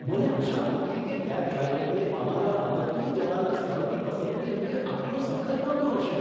મને આશા નહોતી કે કેબ ડ્રાઈવરને અમારા અંબત્તુર જવાના સ્થળની પસંદગી અંગે આટલો સખત વાંધો હશે.